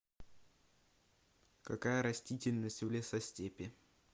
какая растительность в лесостепи